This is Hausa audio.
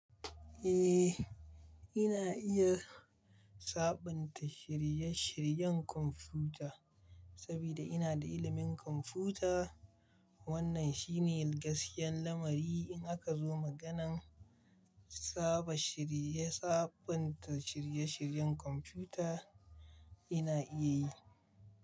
Eh, ina iya sabunta shirye-shiryen kwamfuta saboda ina da ilimin kwamfuta. Wannan shine gaskiyan lamari in aka zo maganan saba shirye- sabunta shirye-shiryen kwamfuta ina iya yi.